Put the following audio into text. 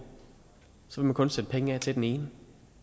så vil man kun sætte penge af til den ene